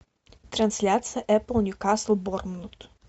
трансляция эпл ньюкасл борнмут